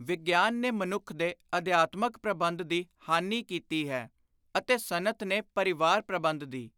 ਵਿਗਿਆਨ ਨੇ ਮਨੁੱਖ ਦੇ ਅਧਿਆਤਮਕ ਪ੍ਰਬੰਧ ਦੀ ਹਾਨੀ ਕੀਤੀ ਹੈ ਅਤੇ ਸਨਅਤ ਨੇ ਪਰਿਵਾਰ-ਪ੍ਰਬੰਧ ਦੀ।